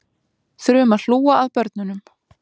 Þurfum að hlúa að börnunum